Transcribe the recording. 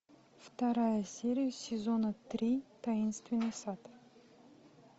вторая серия сезона три таинственный сад